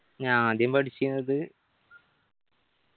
ഞാ ആദ്യം പഠിച്ചിനത്